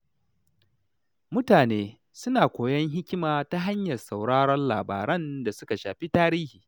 Mutane suna koyon hikima ta hanyar sauraron labaran da suka shafi tarihi.